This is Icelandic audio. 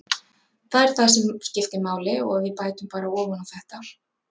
Það er það sem skiptir máli og við bætum bara ofan á þetta.